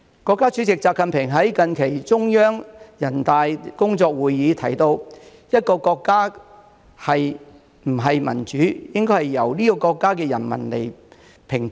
國家主席習近平在近期中央人大工作會議提到："一個國家是不是民主，應該由這個國家的人民來評判。